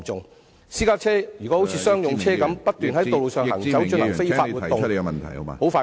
如果私家車像商用車般，不斷在道路上行駛進行非法活動......